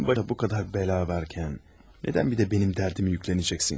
Həmin bu qədər bəla varkən, nədən bir də mənim dərdimi yüklənəcəksən ki?